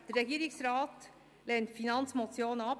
Der Regierungsrat lehnt die Finanzmotion ab.